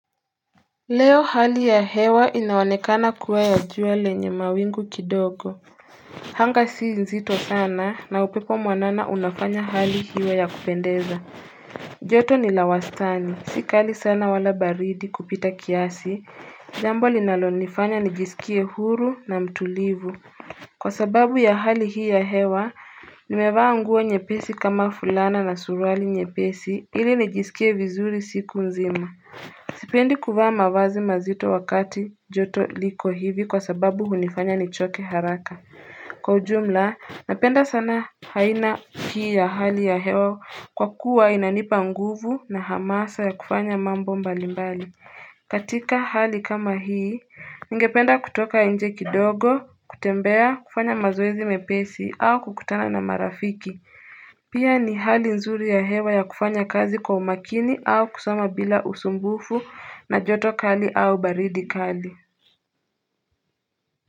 Leo hali ya hewa inaonekana kuwa ya jua lenye mawingu kidogo. Anga si zito sana na upepo mwanana unafanya hali iwe ya kupendeza. Joto ni la wastani, si kali sana wala baridi kupita kiasi, jambo linalonifanya nijisikie huru na mtulivu. Kwa sababu ya hali hii ya hewa, nimevaa nguo nyepesi kama fulana na suruali nyepesi ili nijisikie vizuri siku nzima. Sipendi kuvaa mavazi mazito wakati joto liko hivi kwa sababu hunifanya nichoke haraka. Kwa ujumla, napenda sana aina hii ya hali ya hewa kwa kuwa inanipa nguvu na hamasa ya kufanya mambo mbalimbali. Katika hali kama hii, ningependa kutoka nje kidogo, kutembea, kufanya mazoezi mepesi au kukutana na marafiki. Pia ni hali nzuri ya hewa ya kufanya kazi kwa umakini au kusoma bila usumbufu na joto kali au baridi kali.